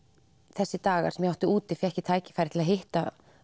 þessa daga sem ég var úti fékk ég tækifæri til að hitta